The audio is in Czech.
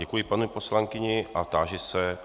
Děkuji paní poslankyni a táži se...